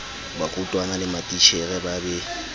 barutwana le matitjhere ba be